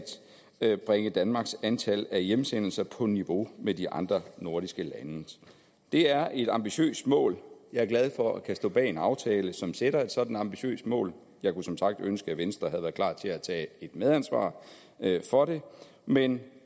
bringe danmarks antal af hjemsendelser på niveau med de andre nordiske landes det er et ambitiøst mål jeg er glad for at kunne stå bag en aftale som sætter et sådant ambitiøst mål jeg kunne som sagt ønske at venstre havde været klar til at tage medansvar for det men